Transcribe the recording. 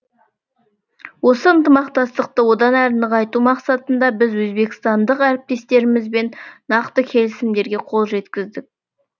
осы ынтымақтастықты одан әрі нығайту мақсатында біз өзбекстандық әріптестерімізбен нақты келісімдерге қол жеткіздік